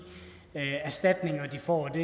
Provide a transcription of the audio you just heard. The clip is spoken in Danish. får det